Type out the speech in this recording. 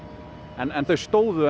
en þau stóðu